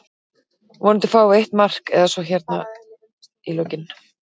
Vonandi fáum við eitt mark eða svo hérna í lokinn.